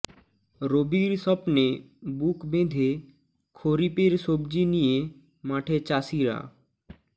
রবির স্বপ্নে বুক বেঁধে খরিপের সবজি নিয়ে মাঠে চাষিরা